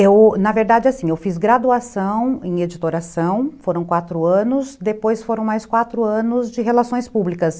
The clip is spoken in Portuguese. Eu, na verdade, assim, eu fiz graduação em editoração, foram quatro anos, depois foram mais quatro anos de relações públicas.